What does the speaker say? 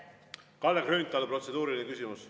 Kalle Grünthal, protseduuriline küsimus.